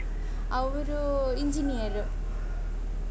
ಅವ್ರು engineer .